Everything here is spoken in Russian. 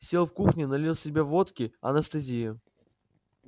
сел в кухне налил себе водки анестезия